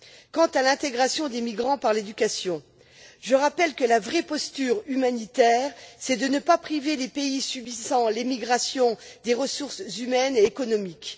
Quant à l'intégration des migrants par l'éducation, je rappelle que la vraie posture humanitaire, c'est de ne pas pénaliser les pays subissant l'émigration des ressources humaines et économiques.